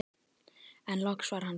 En loks var hann búinn.